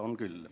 On küll.